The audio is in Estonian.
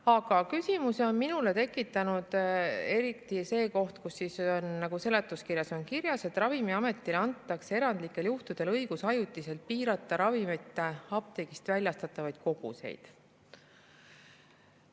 Aga küsimusi on minus tekitanud eriti see koht seletuskirjas, et Ravimiametile antakse erandlikel juhtudel õigus ajutiselt piirata ravimite apteegist väljastatavaid koguseid.